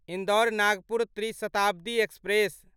इन्दौर नागपुर त्रि शताब्दी एक्सप्रेस